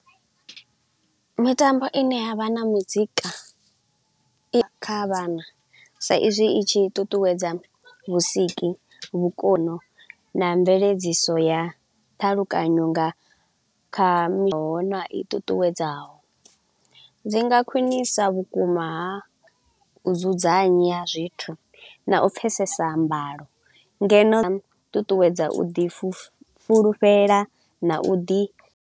Mitambo ine ya vha na muzika i kha vhana sa izwi i tshi ṱuṱuwedza vhusiki, vhukono na mveledziso ya ṱhalukanyo nga kha na i ṱuṱuwedzaho. Dzi nga khwinisa vhukuma ha u dzudzanya zwithu na u pfesesa mbalo, ngeno ṱuṱuwedza u ḓi fu fulufhela na u ḓi.